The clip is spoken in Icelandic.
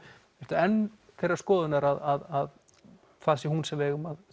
enn þeirrar skoðunar að það sé hún sem við eigum að